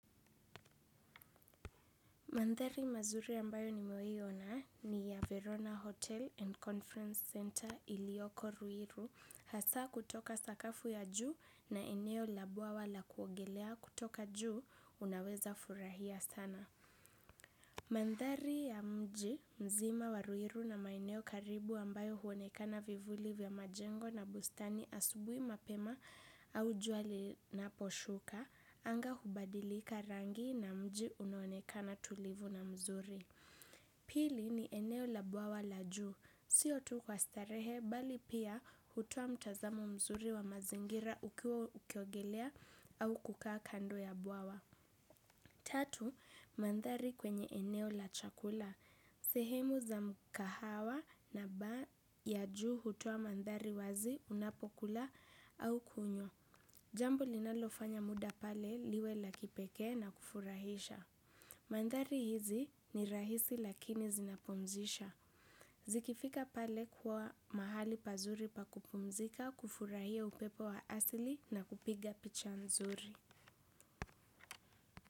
Mandhari mazuri ambayo nimewahi ona ni ya Verona Hotel and Conference Center iliyoko ruiru. Hasa kutoka sakafu ya juu na eneo la bwawa la kuongelea kutoka juu unaweza furahia sana. Mandhari ya mji mzima wa ruiru na maeneo karibu ambayo huonekana vivuli vya majengo na bustani asubuhi mapema au jua linaposhuka. Anga hubadilika rangi na mji unaonekana tulivu na mzuri. Pili ni eneo la bwawa la juu. Sio tu kwa starehe bali pia hutoa mtazamo mzuri wa mazingira ukiwa ukiogelea au kukaa kando ya bwawa. Tatu, mandhari kwenye eneo la chakula sehemu za mkahawa na baa ya juu hutoa mandhari wazi unapokula au kunywa jambo linalofanya muda pale liwe la kipekee na kufurahisha. Mandhari hizi ni rahisi lakini zinapumzisha. Zikifika pale kuwa mahali pazuri pakupumzika kufurahia upepo wa asili na kupiga picha nzuri.